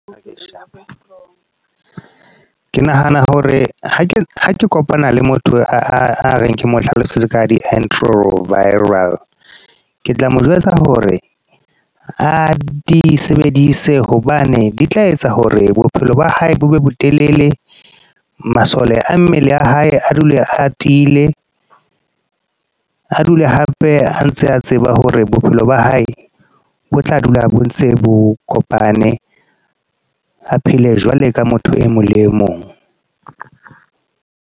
Okay, Sharp. Ke nahana hore, ha ke kopana le motho a reng ke mo hlalosetse ka di-antiretroviral. Ke tla mo jwetsa hore a di sebedise, hobane di tla etsa hore bophelo ba hae bo be botelele. Masole a mmele a hae, a dule atile. A dule hape a ntse a tseba hore bophelo ba hae, bo tla dula a bontse bo kopane. A phele jwalo ka motho e mong le e mong.